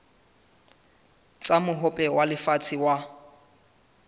tsa mohope wa lefatshe wa